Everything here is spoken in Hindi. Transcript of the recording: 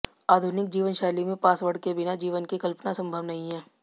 आधुनिक जीवनशैली में पासवर्ड के बिना जीवन की कल्पना संभव नहीं है